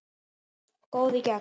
Góð í gegn.